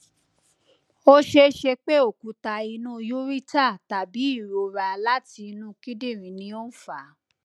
o ṣeese pe okuta inu ureter tabi irora lati inu kidinrin ni o n fa